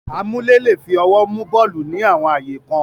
Amúlé le è fi ọwọ́ mú bọ́ọ̀lù ní àwọn ààyè kan.